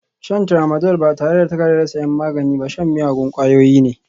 Shan Tramadol ba tare da takardar sayan magani ba shan miyagun ƙwayoyi ne